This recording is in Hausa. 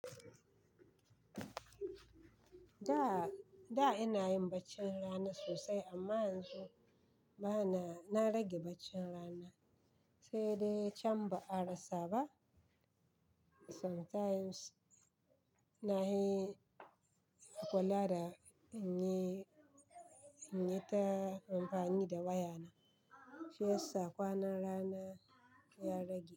Da, ina yin baccin rana sosai amma yanzu bana. Na rage baccin rana, sai dai can ba a rasa ba. Sometimes na hi kula da in yi, in yi ta amfani da wayana. Shi sa kwanan rana ya rage.